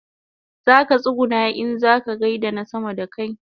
Zaka tsuguna in kaza gaida na sama da kai